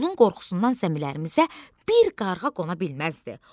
Onun qorxusundan zəmilərimizə bir qarğa qona bilməzdi.